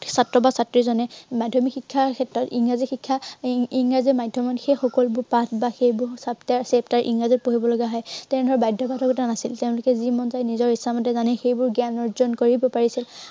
ছাত্ৰ বা ছাত্ৰীজনে মাধ্য়মিক শিক্ষাৰ ক্ষেত্ৰত ইংৰাজী শিক্ষা উম ইংৰাজী মাধ্য়মত সেই সকলোবোৰ পাঠ বা সেইবোৰ chapter ইংৰাজীত পঢ়িব লগা হয়, তেনেধৰনৰ বাধ্য়বাধকতা নাছিল। তেওঁলোকে যি মন যায়, নিজৰ ইচ্ছামতে জানে, সেইবোৰ জ্ঞান অৰ্জন কৰিব পাৰিছিল।